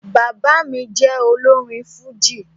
Bàbá mí jẹ olórin fújì